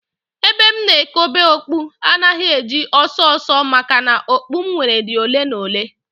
Ebe m na ekobe okpu agaghị eju ọsọ ọsọ maka na okpu m nwere dị ole na ole